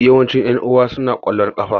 Yawancin yan'uwa na na kwallon kafa.